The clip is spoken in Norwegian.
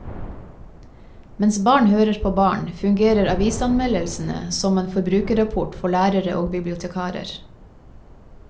Mens barn hører på barn, fungerer avisanmeldelsene som en forbrukerrapport for lærere og bibliotekarer.